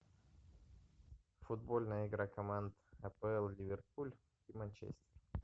футбольная игра команд апл ливерпуль и манчестер